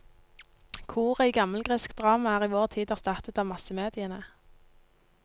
Koret i gammelgresk drama er i vår tid erstattet av massemediene.